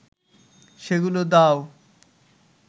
সেগুলো দাও